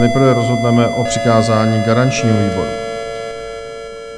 Nejprve rozhodneme o přikázání garančnímu výboru.